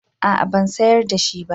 A'a ban sayar da shi ba